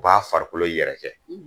U b'a farikolo yɛrɛkɛ